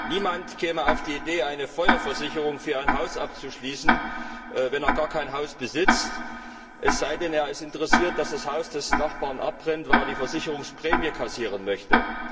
Niemand käme auf die Idee, eine Feuerversicherung für ein Haus abzuschließen, wenn er gar kein Haus besitzt, es sei denn, er ist interessiert, dass das Haus des Nachbarn abbrennt, weil er die Versicherungsprämie kassieren möchte.